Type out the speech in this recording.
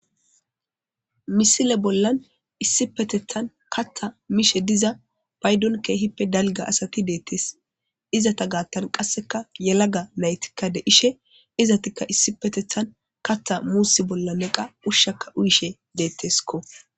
misile bollan issi petethan katta miishe diza paydon keehippe dalga asati deettees izata gaattan qasseka yalaga naytikka de ishe izatikka issi petethan katta muussi bolla neqa ushshaka uyishe deettesko